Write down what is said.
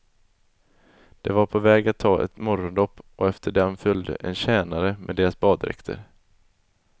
De var på väg att ta ett morgondopp, och efter dem följde en tjänare med deras baddräkter.